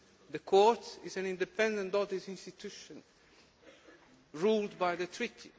The Court is an independent audit institution governed by the treaty.